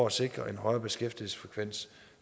at sikre en højere beskæftigelsesfrekvens